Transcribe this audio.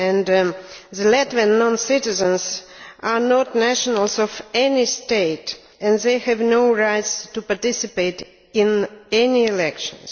The Latvian non citizens are not nationals of any state and they have no right to participate in any elections.